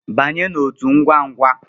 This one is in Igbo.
Banye n'otu ngwangwa!